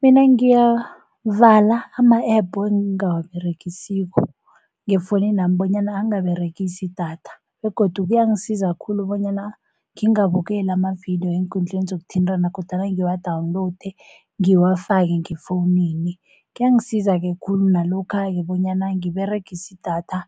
Mina ngiyavala ama-Apps engingawa beregisiko ngefonini nami bonyana angaberegisi idatha, begodu kuyangisiza khulu bonyana ngingabukeli amavidiyo eenkundleni zokuthintana kodwana ngiwa-download ngiwafake ngefonini. Kuyangisiza-ke khulu nalokha-ke bonyana ngiberegise idatha